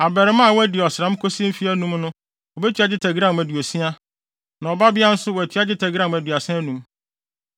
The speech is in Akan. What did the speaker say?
Abarimaa a wadi ɔsram kosi mfe anum no wobetua dwetɛ gram 60; na ɔbabea nso wɔatua dwetɛ gram 35.